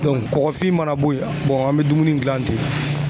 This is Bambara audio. kɔkɔfin mana bɔ yen an bɛ dumuni gilan ten.